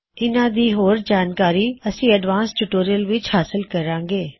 ਇਹਨਾ ਦੀ ਹੋਰ ਜਾਣਕਾਰੀ ਅਸੀ ਅੱਗਲੇ ਐਡਵਾਨ੍ਸਡ ਟਿਊਟੋਰਿਯਲ ਵਿੱਚ ਹਾਸਲ ਕਰਾਂਗੇ